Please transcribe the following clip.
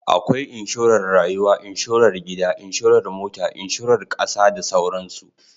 Akwai Inshorar Rayuwa, Inshorar Gida, Inshorar Mota, Inshorar Kasa da dai sauransu.